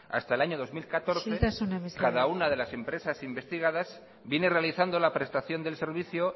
hasta el año dos mil catorce isiltasuna mesedez cada una de las empresas investigadas vienen realizando la prestación del servicio